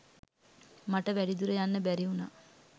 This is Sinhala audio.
මට වැඩි දුර යන්න බැරි වුණා.